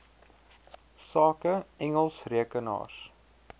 sake engels rekenaars